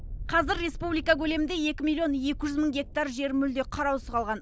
қазір республика көлемінде екі миллион екі жүз мың гектар жер мүлде қараусыз қалған